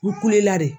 U kulela de